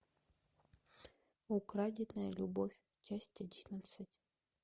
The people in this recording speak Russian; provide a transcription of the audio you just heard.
украденная любовь часть одиннадцать